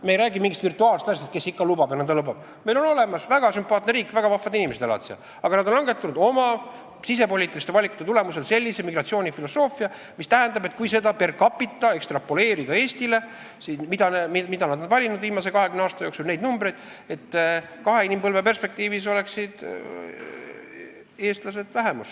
Me ei räägi mingist virtuaalsest asjast, neil on olemas väga sümpaatne riik, seal elavad väga vahvad inimesed, aga nad on valinud oma sisepoliitiliste valikute tulemusel viimase 20 aasta jooksul sellise migratsioonifilosoofia, mis tähendab, et kui neid numbreid ekstrapoleerida per capita Eestile, seda varianti, mille nad on valinud viimase 20 aasta jooksul, siis kahe inimpõlve perspektiivis oleksid eestlased vähemuses.